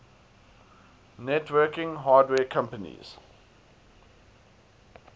networking hardware companies